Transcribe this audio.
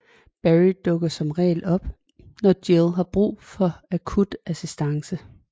Barry dukker som regel op nå Jill har brug for akut assistance